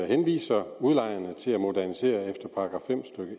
henviser udlejerne til at modernisere efter § fem stykke